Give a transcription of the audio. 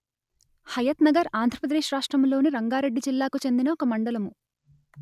హయాత్‌నగర్‌ ఆంధ్ర ప్రదేశ్ రాష్ట్రములోని రంగారెడ్డి జిల్లాకు చెందిన ఒక మండలము